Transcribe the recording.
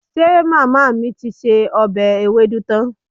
Ṣe màmá mi ti se ọbẹ̀ ewédú tán?